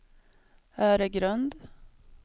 Öregrund